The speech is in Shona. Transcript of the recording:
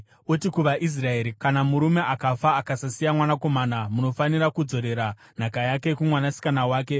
“Uti kuvaIsraeri, ‘Kana murume akafa akasasiya mwanakomana, munofanira kudzorera nhaka yake kumwanasikana wake.